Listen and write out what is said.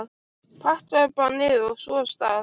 Pakkaðu bara niður, og svo af stað!